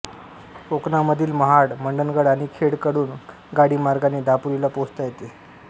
कोकणामधील महाड मंडणगड आणि खेड कडून गाडीमार्गाने दापोलीला पोहोचता येते